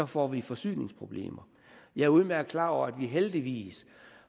får vi forsyningsproblemer jeg er udmærket klar over at vi heldigvis